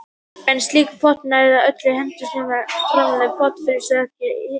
En slík prótín, eða öllu heldur gen sem framleiða prótínin, finnast ekki hjá nagdýrum.